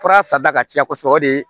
Fura sarida ka ca kɔsɔbɛ o de